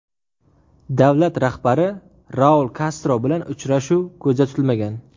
Davlat rahbari Raul Kastro bilan uchrashuv ko‘zda tutilmagan.